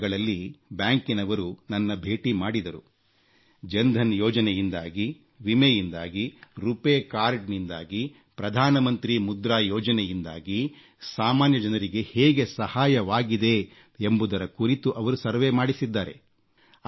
ಕಳೆದ ದಿನಗಳಲ್ಲಿ ಬ್ಯಾಂಕಿನವರು ನನ್ನನ್ನು ಭೇಟಿ ಮಾಡಿದರು ಜನ್ಧನ್ ಯೋಜನೆಯಿಂದಾಗಿ ವಿಮೆಯಿಂದಾಗಿ ರುಪೆ ಕಾರ್ಡನಿಂದಾಗಿ ಪ್ರಧಾನಮಂತ್ರಿ ಮುದ್ರಾ ಯೋಜನೆಯಿಂದಾಗಿ ಸಾಮಾನ್ಯ ಜನರಿಗೆ ಹೇಗೆ ಸಹಾಯವಾಗಿದೆ ಎಂಬುದರ ಕುರಿತು ಅವರು ಸಮೀಕ್ಷೆ ಮಾಡಿಸಿದ್ದಾರೆ